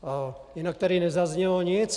Jinak tady nezaznělo nic.